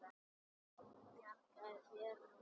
Ég bjarga þér núna.